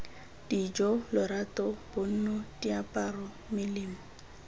dijo lorato bonno diaparo melemo